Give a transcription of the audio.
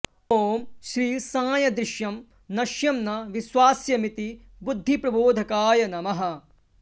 ॐ श्री साई दृश्यं नश्यं न विश्वास्यमिति बुद्धिप्रबोधकाय नमः